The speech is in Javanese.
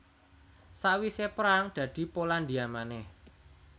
Sawisé perang dadi Polandia manèh